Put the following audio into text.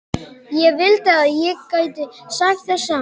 Ég vildi að ég gæti sagt það sama.